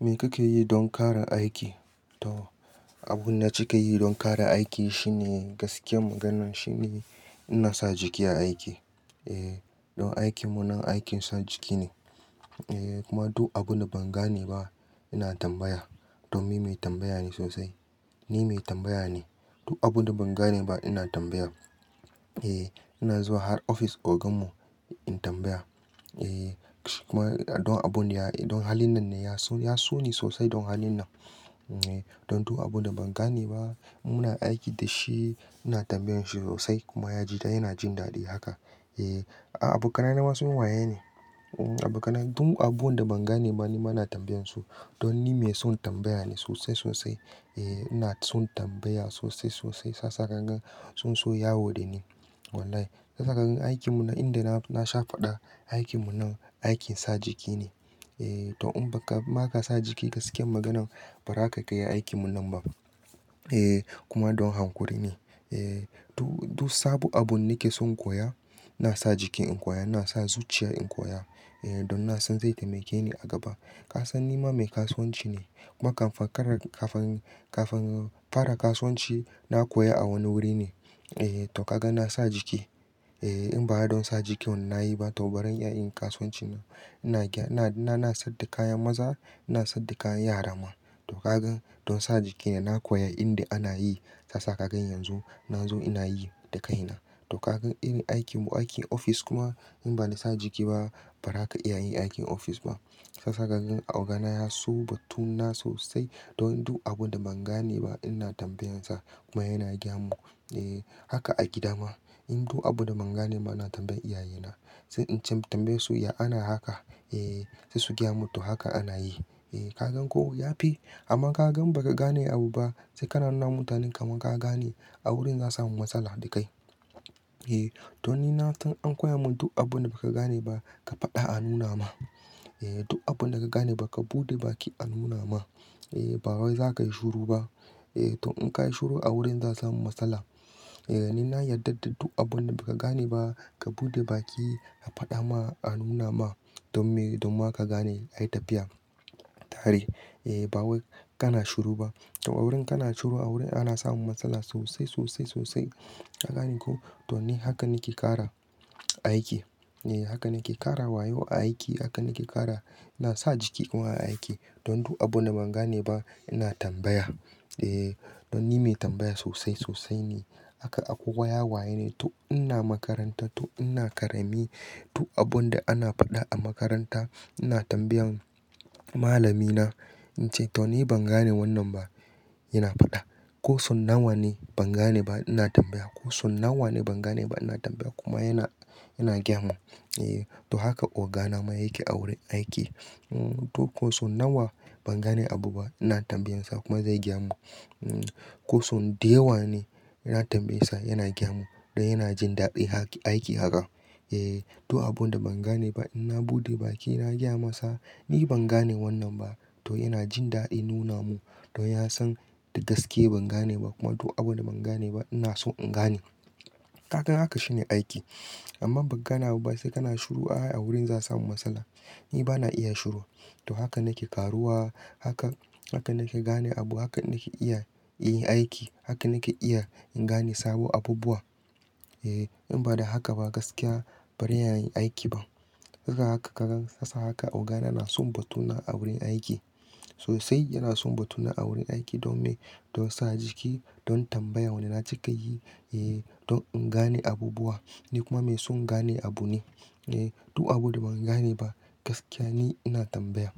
Me kake yi don ƙara aiki? To, abun da kika yi don ƙara aiki shine gaskiyar maganan shine ina sa jiki a aiki. Eh, don aikin mu nan aikin sa jiki ne, eh kuma duk abun da ban gane ba ina tambaya. Domin mai tambaya ne sosai. Ni mai tambaya ne, duk abun da ban gane ba ina tambaya. Eh, ina zuwa har ofis ogan mu, in tambaya. Eh, kuma don abun da, don halin nan ne ya so, ya so ni sosai don halin nan. Don du abun da ban gane ba muna aiki da shi ina tambayen shi sosai kuma ya ji, yana jin daɗi haka. Eh, a-a-a abokanai ma sun waya ni. Um abokanai, duk abun da ban gane ba nima ina tambaye su. Don ni mai son tambaya ne sosai-sosai. Eh ina son tambaya sosai-sosai. Sisa kagan sun so ya wo dani. Wallahi. Yanda kagan aikin mu nan inda na, na sha faɗa, aikin mu nan aikin sa jiki ne. Eh to in ba ka, ma ka sa jiki gaskiyan maganan, ba za ka iya aikin mu nan ba. Eh kuma don hankuri ne. Eh du, duk sabo abun nake son in koya ina sa jiki in koya. Na sa zuciya in koya. Eh don na san zai taimake ni a gaba. Ka san nima mai kasuwanci ne. Kuma kafin- ƙara--kafin-kafin fara, kafin fara kasuwan ci na koya a wani wuri ne. Eh to kaga na sa jiki. Eh in ba don sa jikin nayi ba, to bazan iya yin kasuwanci. Ina gya, na, na, na sayar da kayan maza, ina sayar da kayan yara ma. To kaga don sa jiki ne na koya inda ana yi. Yasa kaga yanzu, na zo ina yi da kaina. To kaga irin aikin mu aikin ofis kuma in ba na sa jiki ba, ba za ka iya yin aikin ofis ba. Shiyasa kagan oga na ya so batuna sosai. Don du abun da ban gane ba ina tambayen sa, kuma yana gaya mun. Eh haka a gida ma. In du abun da ban gane ba ina tambaye iyaye na. Sai in ce tambaye su, "Ya ana haka?" Eh sai su gya mu, "to haka ana yi." Eh kaga ko yafi? Amma kaga in ba ka gane abu ba sai ka nauna mutane kamar ka gane a wurin za samu matsala da kai. Eh to ni na san an koya mun duk abun da ba ka gane ba, ka faɗa a nuna ma. Eh duk abun da ba ka gane ba ka buɗe baki a nuna ma. Eh ba wai za ka yi shiru ba. Eh to in ka yi shiru a wurin za sama matsala. Eh ni na yarda da duk abun da ba ka gane ba ka buɗe baki ka faɗa ma a nuna ma. Don me, don ma ka gane ayi tafiya, tare. Eh ba wai kana shiru ba. To a wurin kana shiru a wurin ana samu matsala sosai-sosai-sosai. Ka gane ko? To ni haka nake ƙara aiki. Eh haka nake ƙara wayo a aiki. Haka nake ƙara. Na sa jiki kuma a yi aiki. Don du abun da ban gane ba ina tambaya. Eh don ni mai tambaya sosai sosai ne. Haka akwai waya waye ne. To ina makaranta to ina karami. Duk abun da ana faɗa a makaranta ina tambayan malami na. In ce to ni ban gane wannan ba yana faɗa. Ko sau nawa ne ban gane ba ina tambaya. Ko sau nawa ne ban gane ba ina tambaya kuma yana, yana gya mun. Eh to haka ogana ma yake a wurin aiki. To ko sau na wa ban gane abu ba ina tambayen sa kuma zai gaya mu. Ko sau da ya wa ne ina tambaye sa yana gaya mu. Don yana jin daɗin aiki haka. Eh to abun da ban gane ba ina buɗe baki na gaya masa, "Ni ban gane wannan ba." To yana jin daɗin nuna mun. Don ya san da gaske ban gane ba kuma to abun da ban gane ba ina so in gane. Ka ga haka shine aiki. Amma ban gane abu ba sai kana shiru a wurin za a sami matsala. Ni ba na iya shiru. To haka nake ƙaruwa. Haka, haka nake gane abu. Haka nake iya yin aiki. Haka nake iya in gane sabo abubuwa. Eh in ba da haka ba gaskiya bari ya yi aiki ban. Kaga haka kagan sa haka oga na yana son batuna a wurin aiki. Sosai yana son batuna a wurin aiki domin, don sa jiki don tambaya wanne na cika yi. Eh don in gane abubuwa. Ni kuma mai son gane abu ne. Eh du abun da ban gane ba gaskiya ni ina tambaya.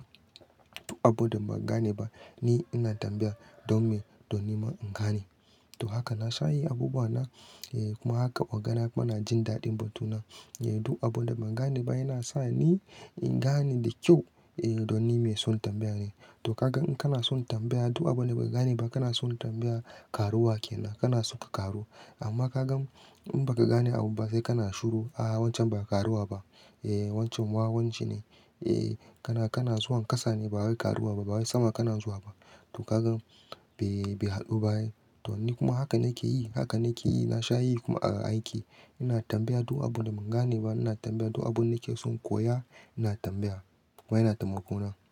Duk abun da ban gane ba, ni ina tambaya don me,? Don nima in gane. To haka na sha yi abubuwa na. Eh kuma haka oga na kuma ina jin daɗin batuna. Eh du abun da ban gane ba yana sa ni, in gane da kyau. Eh don ni mai son tambaya ne. To kagan in kana son tambaya duk abun da bai gane ba kana son tambaya, ƙaruwa kenan. Kana so ka ƙaru. Amma kagan in ba ka gane abu ba sai kana shiru. A wancan ba karuwa ba. Eh wancan, wawa wanci ne. Eh kana, kana zuwa ƙasa ne ba wai karuwa ba. Ba wai sama kana zuwa ba. To kagan bai, bai haɗu ba. To ni kuma haka nake yi. Haka nake yi. Na sha yi kuma a aiki. Ina tambaya duk abun da ban gane ba, ina tambaya. Duk abun da nake son koya ina tambaya, kuma yana taimako na.